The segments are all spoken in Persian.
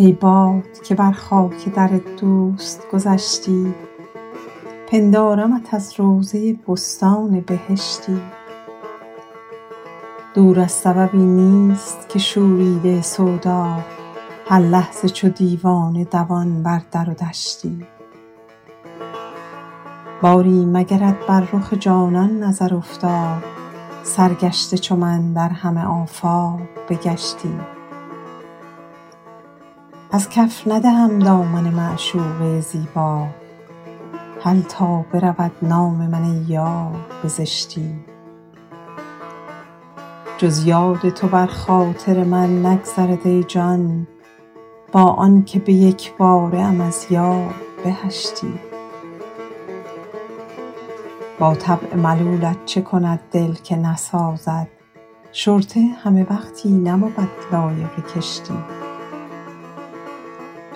ای باد که بر خاک در دوست گذشتی پندارمت از روضه بستان بهشتی دور از سببی نیست که شوریده سودا هر لحظه چو دیوانه دوان بر در و دشتی باری مگرت بر رخ جانان نظر افتاد سرگشته چو من در همه آفاق بگشتی از کف ندهم دامن معشوقه زیبا هل تا برود نام من ای یار به زشتی جز یاد تو بر خاطر من نگذرد ای جان با آن که به یک باره ام از یاد بهشتی با طبع ملولت چه کند دل که نسازد شرطه همه وقتی نبود لایق کشتی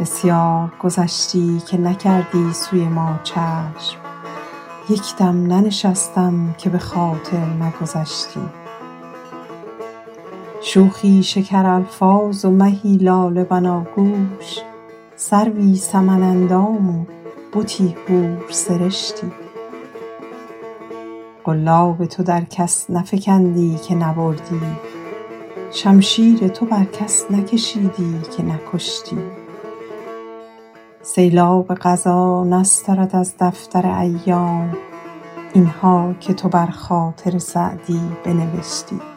بسیار گذشتی که نکردی سوی ما چشم یک دم ننشستم که به خاطر نگذشتی شوخی شکرالفاظ و مهی لاله بناگوش سروی سمن اندام و بتی حورسرشتی قلاب تو در کس نفکندی که نبردی شمشیر تو بر کس نکشیدی که نکشتی سیلاب قضا نسترد از دفتر ایام این ها که تو بر خاطر سعدی بنوشتی